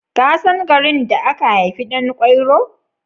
Ka san garin da aka haifi Ɗan kwairo?